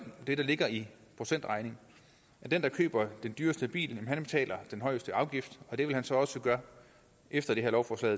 det der ligger i procentregning den der køber den dyreste bil betaler den højeste afgift og det vil han så også gøre efter det her lovforslag